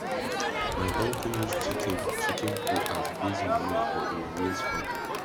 my uncle use chicken chicken poo as base manure for him maize farm